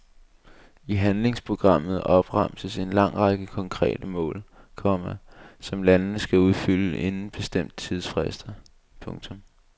I handlingsprogrammet opremses en lang række konkrete mål, komma som landene skal opfylde inden bestemte tidsfrister. punktum